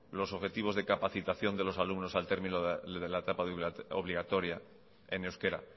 los objetivos de capacitación de los alumnos al término de la etapa obligatoria en euskera